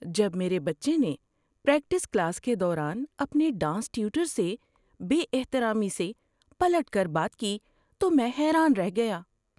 جب میرے بچے نے پریکٹس کلاس کے دوران اپنے ڈانس ٹیوٹر سے بے احترامی سے پلٹ کر بات کی تو میں حیران رہ گیا۔